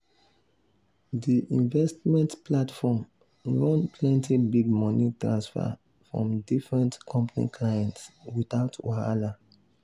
the investment platform run plenty big money transfer from different company clients without wahala.